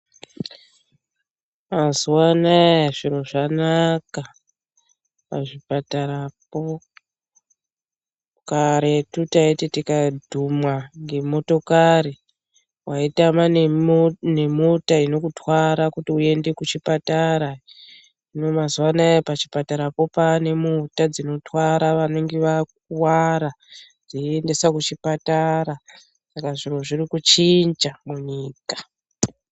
Mazuwa anaya zviro zvanaka, pazvipatarapo karetu tayiti tikadhumwa ngemotokari ,wayitama nemota inokutwara kuti uyende kuchipatara, hino mazuwa anaya pachipatarapo paane mota dzinotwara vanenge vakuwara dzeyiendesa kuchipatara, saka zviro zviri kuchinja munyika.